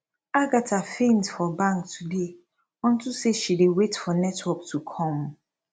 agatha faint for bank today unto say she dey wait for network to come